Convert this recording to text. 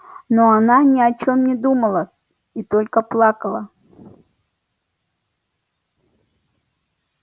но она ни о чем не думала и только плакала